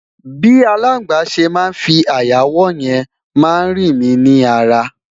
bi alàgbà se má fí aya wò yen ma ri mi ni ara